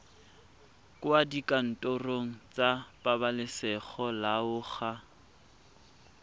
kwa dikantorong tsa pabalesego loago